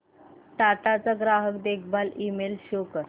टाटा चा ग्राहक देखभाल ईमेल शो कर